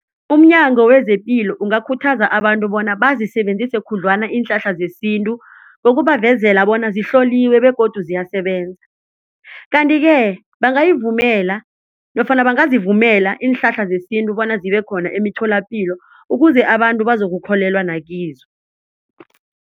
Umnyango wezepilo ungakhuthaza abantu bona bazisebenzise khudlwana iinhlahla zesintu ngokubavezela bona zihloliwe begodu ziyasebenza. Kanti-ke bangayivumela nofana bangazivumela iinhlahla zesintu bona zibe khona emitholapilo ukuze abantu bazokukholelwa nakizo.